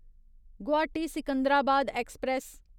Guwahati Secunderabad express